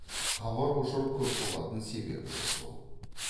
хабар ошар көп болатын себебі де сол